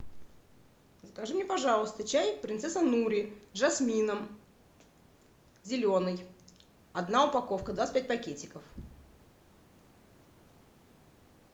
закажи мне пожалуйста чай принцесса нури с жасмином зеленый одна упаковка двадцать пять пакетиков